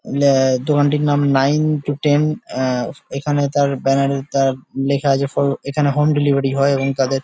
আ দোকানটির নাম nine to ten আহ এইখানে তার ব্যানার এ তার লেখা আছে ফর এখানে হোম ডেলিভারি হয় এবং তাদের--